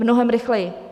Mnohem rychleji.